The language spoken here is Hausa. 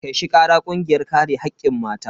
Kai shi kara kungiyar kare hakkin mata.